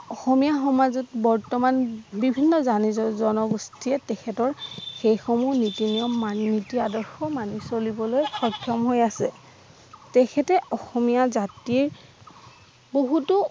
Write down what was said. অসমীয়া সমাজত বৰ্ত্তমান বিভিন্ন জাতি জ জনগোষ্ঠী যে তেখেতৰ হৈ সমূহ নীতি নিয়ম মানি নীতি আদৰ্শ মানি চলিবলৈ সক্ষম হৈ আছে তেখেতে অসমীয়া জাতিৰ বহুতো